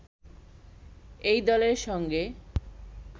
এই দলের সঙ্গে